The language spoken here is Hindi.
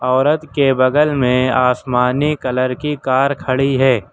औरत के बगल में आसमानी कलर की कार खड़ी है।